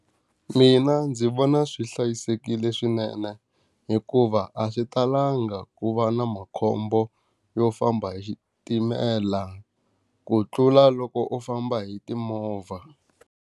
Mina ndzi vona swi hlayisekile swinene hikuva a swi talangi ku va na makhombo yo famba hi xitimela, ku tlula loko u famba hi timovha.